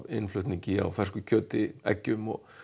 innflutningi á fersku kjöti eggjum og